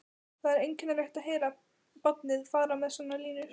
Það er einkennilegt að heyra barnið fara með svona línur